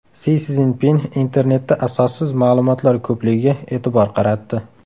Si Szinpin internetda asossiz ma’lumotlar ko‘pligiga e’tibor qaratdi.